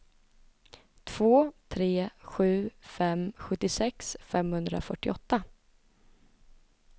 två tre sju fem sjuttiosex femhundrafyrtioåtta